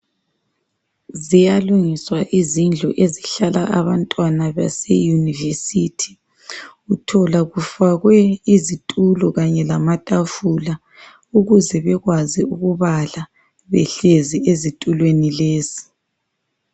Ziyalungiswa izindlu ezihlala abantwana base yunivesithi uthola kufakwe izitulo kanye lamatafula ukuze bekwazi ukubala behlezi ezitulweni lezi.